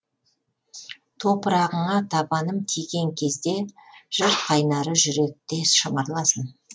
топырағыңа табаным тиген кезде жыр қайнары жүректе шымырласын